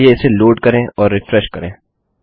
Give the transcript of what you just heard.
चलिए इसे लोड करें और रिफ्रेश करें